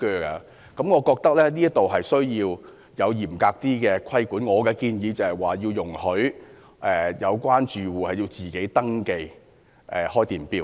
因此，我認為必須有更嚴格的規管，我建議容許有關租客自行登記開電錶。